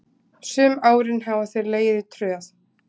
Sum árin hafa þeir legið í tröð.